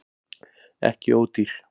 Ekki ódýr